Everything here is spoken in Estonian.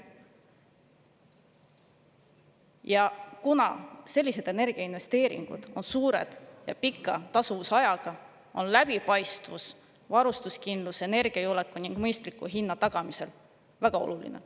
Ja kuna sellised energiainvesteeringud on suured ja pika tasuvusajaga, on läbipaistvus varustuskindluse, energiajulgeoleku ning mõistliku hinna tagamisel väga oluline.